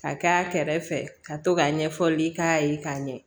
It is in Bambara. Ka k'a kɛrɛfɛ ka to ka ɲɛfɔli k'a ye k'a ɲɛ